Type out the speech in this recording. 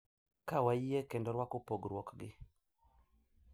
Ka wayie kendo rwako pogruokgi